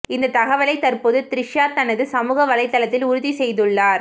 இந்த தகவலை தற்போது த்ரிஷா தனது சமூக வலைத்தளத்தில் உறுதி செய்துள்ளார்